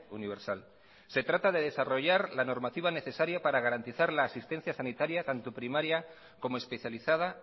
universal se trata de desarrollar la normativa necesaria para garantizar la asistencia sanitaria tanto primaria como especializada